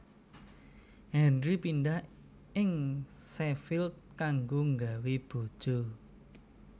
Henry pindah ing Sheffield kanggo gawé baja